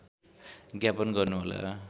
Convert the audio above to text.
ज्ञापन गर्नुहोला